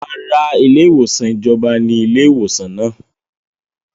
Rárá, ilé ìwòsàn ìjọba ní ilé ìwòsàn náà